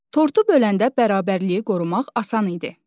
Tortu böləndə bərabərliyi qorumaq asan idi.